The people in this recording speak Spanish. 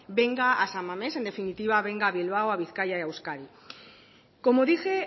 venga a san mamés en definitiva venga a bilbao a bizkaia y a euskadi como dije